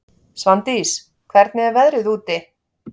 Svandís, hvernig er veðrið úti?